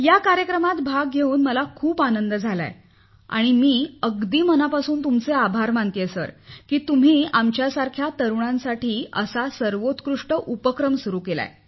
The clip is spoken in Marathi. या कार्यक्रमात भाग घेऊन मला खूप आनंद झाला आहे आणि मी अगदी मनापासून तुमचे आभार मानते की तुम्ही आमच्यासारख्या तरुणांसाठी असा सर्वोत्कृष्ट उपक्रम सुरु केला